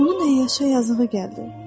Onun əyyaşa yazığı gəldi.